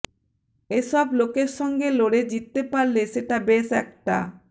এ সব লোকের সঙ্গে লড়ে জিততে পারলে সেটা বেশ একটা